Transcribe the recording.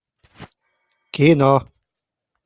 кино